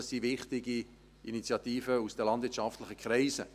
Das sind wichtige Initiativen aus den landwirtschaftlichen Kreisen.